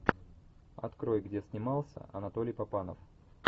открой где снимался анатолий папанов